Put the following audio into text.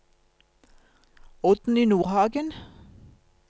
Oddny Nordhagen